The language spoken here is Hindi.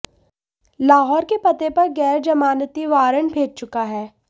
लाहौर के पते पर गैर जमानती वारंट भेज चुका है